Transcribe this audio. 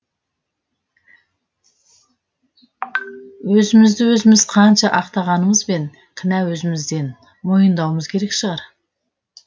өзімізді өзіміз қанша ақтағанымызбен кінә өзімізден мойымдауымыз керек шығар